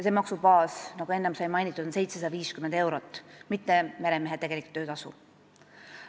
See maksubaas, nagu enne mainitud sai, on 750 eurot, mitte meremehe tegelik töötasu.